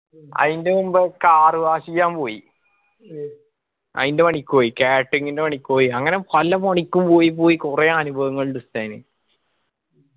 ആയിന്റ മുൻപ് car wash എയ്യാൻ പോയി. ആയിന്റ പണിക്ക് പോയി catering ന്റെ പണിക്ക് പോയി അങ്ങനെ പല പണിക്കും പോയി പോയി കൊറേ അനുഭവങ്ങളിണ്ടു ഉസ്താദിന്